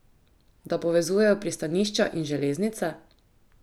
Da povezujejo pristanišča in železnice?